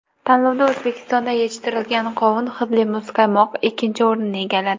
Tanlovda O‘zbekistonda yetishtirilgan qovun hidli muzqaymoq ikkinchi o‘rinni egalladi.